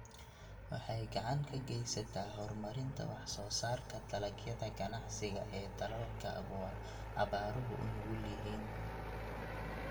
Waxay gacan ka geysataa horumarinta wax soo saarka dalagyada ganacsiga ee dalalka abaaruhu u nugul yihiin.